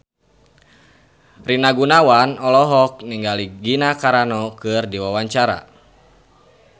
Rina Gunawan olohok ningali Gina Carano keur diwawancara